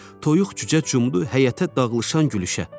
Toyuq-cücə cumdu həyətə dağılışan gülüşə.